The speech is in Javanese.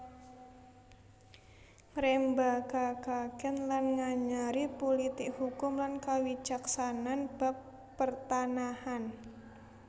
Ngrembakakaken lan nganyari pulitik hukum lan kawicaksanan bab pertanahan